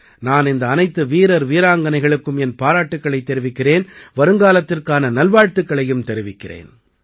நான் இந்த அனைத்து வீரர் வீராங்கனைகளுக்கும் என் பாராட்டுக்களைத் தெரிவிக்கிறேன் வருங்காலத்திற்கான நல்வாழ்த்துக்களையும் தெரிவிக்கிறேன்